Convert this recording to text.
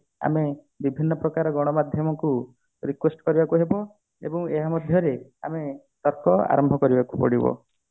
ଆମେ ବିଭିନ୍ନ ପ୍ରକାର ଗଣ ମାଧ୍ୟମକୁ request କରିବାକୁ ହେବ ଏବଂ ଏହା ମଧ୍ୟରେ ଆମେ ତର୍କ ଆରମ୍ଭ କରିବାକୁ ପଡିବ